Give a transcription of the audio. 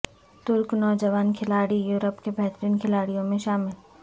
ترک نوجوان کھلاڑی یورپ کے بہترین کھلاڑیوں میں شامل